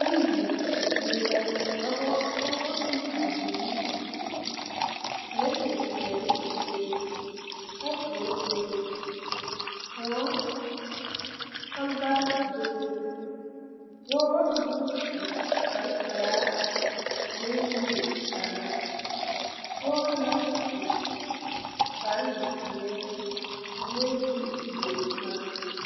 Bondi zie la dɔbɔ pɔɔbɔ ne bibiire zeŋ pirɛte peɛle bebe kapure bebe kòɔ kɔlbaarre bebe dɔɔ naŋ su kparepelaa furee niŋe kaara dɔɔ naŋ su kparezeɛ sulee dire boma.